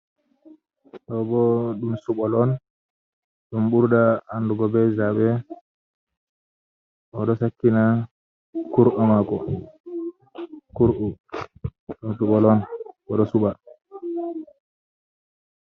Ɗo bo ɗum suɓol on ɗum ɓurda andu go be zabe, oɗo sakkina kur’a mako kur’u ɗum suɓol on oɗo suɓa.